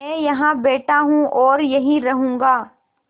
मैं यहाँ बैठा हूँ और यहीं रहूँगा